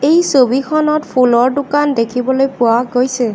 এই ছবিখনত ফুলৰ দোকান দেখিবলৈ পোৱা গৈছে।